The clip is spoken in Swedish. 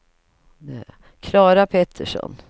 Klara Petersson